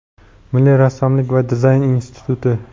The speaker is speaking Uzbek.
Milliy rassomlik va dizayn instituti;.